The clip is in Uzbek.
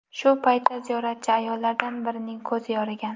Shu paytda ziyoratchi ayollardan birining ko‘zi yorigan.